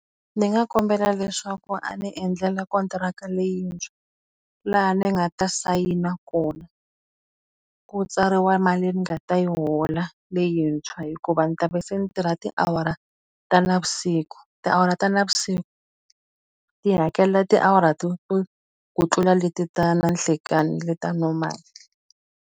Ndzi nga kombela leswaku a ni endlela kontiraka leyintshwa laha ni nga ta sayina kona, ku tsariwa mali ni nga ta yi hola leyintshwa hikuva ndzi ta va se ndzi tirha tiawara ta navusiku. Tiawara ta navusiku ti hakelela tiawara to to ku tlula leti ta nanhlikani, leti ta normal.